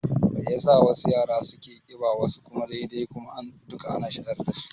Mai yasa wasu yara suna ƙiba wasu kuma dai-dai kuma duka ana shayar dasu?